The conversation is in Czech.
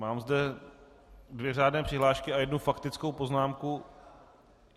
Mám zde dvě řádné přihlášky a jednu faktickou poznámku.